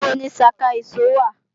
Níbo ni ṣaka ìṣó wà